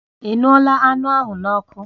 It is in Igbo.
Ị ṅụọla anụ ahụ n'ọkụ?